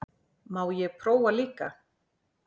Má ég prófa líka!